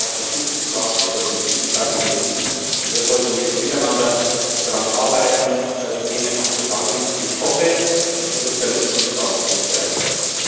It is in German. Ich habe das ja auch versucht zu sagen Wir sollten diese Debatten beenden, und wir sollten jetzt miteinander daran arbeiten, die Themen anzupacken, und ich hoffe, dass die Sozialisten dazu bereit sind.